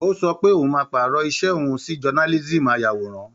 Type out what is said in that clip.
Ó sọ pé oun máa pàrọ̀ iṣẹ́ òun sí jonálísíìmù ayàwòrán